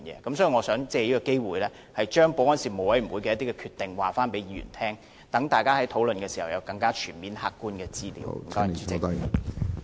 因此，我想藉此機會，告知各位議員事務委員會的決定，以便大家在討論時能掌握更全面的客觀資料。